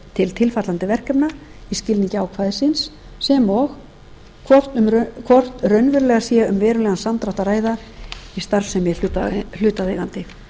til tilfallandi verkefna í skilningi ákvæðisins sem og hvort raunverulega sé um verulegan samdrátt að ræða í starfsemi hlutaðeigandi